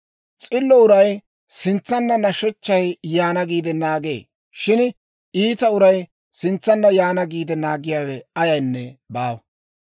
S'illo uray sintsanna nashechchay yaana giide naagee; shin iita uray sintsanna yaana giide naagiyaawe ayaynne baawa.